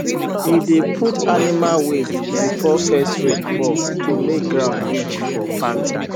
we dey put animal waste before first rain fall to make ground rich for farming